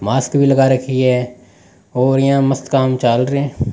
Mask भी लगा रखी है और यहाँ मस्त काम चाल रे है।